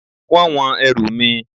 Wọ́n wọn ẹrù mi